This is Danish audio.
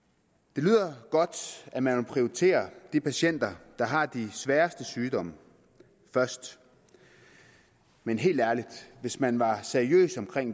det lyder godt at man vil prioritere de patienter der har de sværeste sygdomme først men helt ærligt hvis man var seriøs